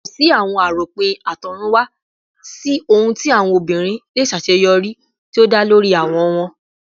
Ko si awọn aropin atorunwa si ohun ti awọn obinrin le ṣaṣeyọri ti o da lori awọ wọn